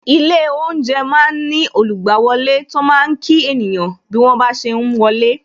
Ilé oúnjẹ máa ń ní olugbawole tó máa kí ènìyàn bí wọ́n ba ṣe ń wọlé